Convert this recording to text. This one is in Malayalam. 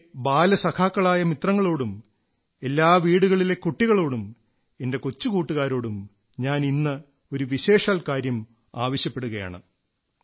എന്റെ ബാലസഖാക്കളായ മിത്രങ്ങളോടും എല്ലാ വീടുകളിലെ കുട്ടികളോടും എന്റെ കൊച്ചു കൂട്ടുകാരോടും ഞാൻ ഇന്ന് ഒരു വിശേഷാൽ കാര്യം ആവശ്യപ്പെടുകയാണ്